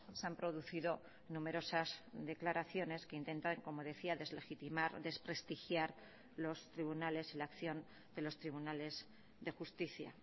se han producido numerosas declaraciones que intentan como decía deslegitimar desprestigiar los tribunales la acción de los tribunales de justicia